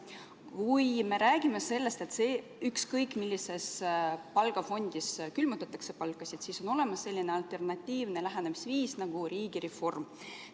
Kui me räägime sellest, et ükskõik millises palgafondis külmutatakse palkasid, siis on olemas selline alternatiivne lähenemisviis nagu riigireform.